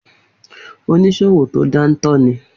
Oníṣòwò to dántọ́ ní